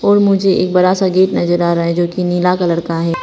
और मुझे एक बड़ा सा गेट नजर आ रहा है जो कि नील कलर का है।